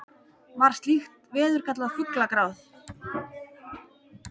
var slíkt veður kallað fuglagráð